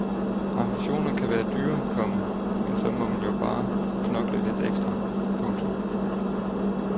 Ambitioner kan være dyre, komma men så må man jo bare knokle lidt ekstra. punktum